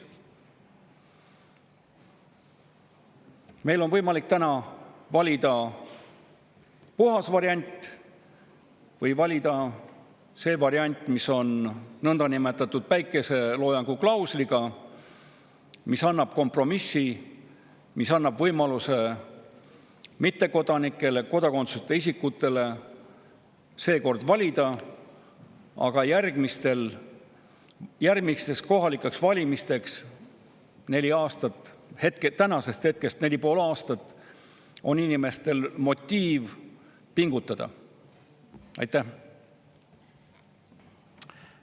Meil on võimalik täna valida puhas variant või valida see variant, mis on nõndanimetatud päikeseloojanguklausliga, mis kompromissi ja mis annab mittekodanikele ja kodakondsuseta isikutele võimaluse seekord valida, aga järgmistel kohalikel valimistel – nende valimisteni on tänasest neli ja pool aastat – pakub nüüd inimestele motiivi pingutada.